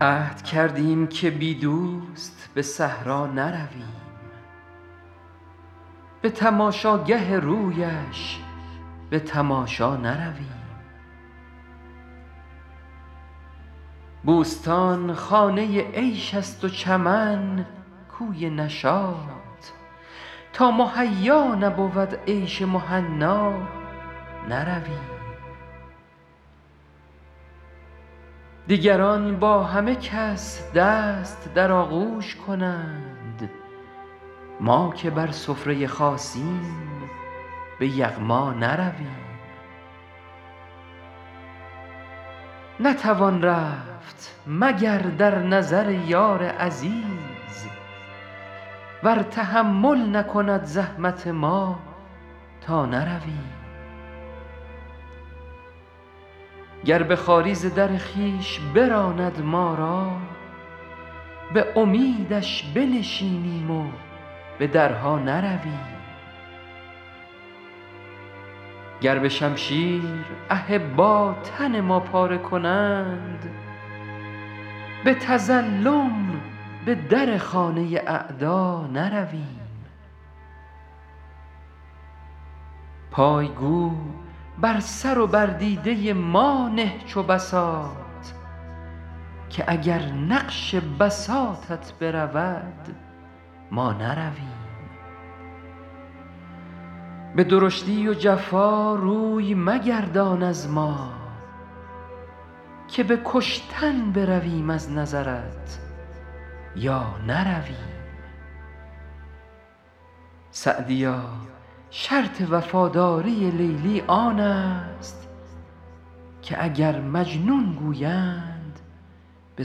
عهد کردیم که بی دوست به صحرا نرویم بی تماشاگه رویش به تماشا نرویم بوستان خانه عیش است و چمن کوی نشاط تا مهیا نبود عیش مهنا نرویم دیگران با همه کس دست در آغوش کنند ما که بر سفره خاصیم به یغما نرویم نتوان رفت مگر در نظر یار عزیز ور تحمل نکند زحمت ما تا نرویم گر به خواری ز در خویش براند ما را به امیدش بنشینیم و به درها نرویم گر به شمشیر احبا تن ما پاره کنند به تظلم به در خانه اعدا نرویم پای گو بر سر و بر دیده ما نه چو بساط که اگر نقش بساطت برود ما نرویم به درشتی و جفا روی مگردان از ما که به کشتن برویم از نظرت یا نرویم سعدیا شرط وفاداری لیلی آن است که اگر مجنون گویند به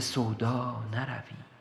سودا نرویم